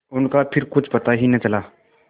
उनका फिर कुछ पता ही न चला